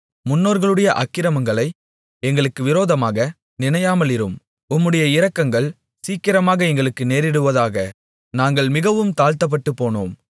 முன்னோர்களுடைய அக்கிரமங்களை எங்களுக்கு விரோதமாக நினையாமலிரும் உம்முடைய இரக்கங்கள் சீக்கிரமாக எங்களுக்கு நேரிடுவதாக நாங்கள் மிகவும் தாழ்த்தப்பட்டுப்போனோம்